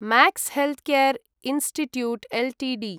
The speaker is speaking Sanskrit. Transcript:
max healthcare institute Ltd